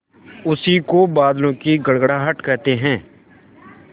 उसी को बादलों की गड़गड़ाहट कहते हैं